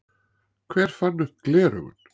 Hver fann upp gleraugun?